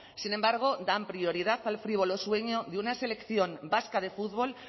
sin embargo dan prioridad al frívolo sueño de una selección vasca de fútbol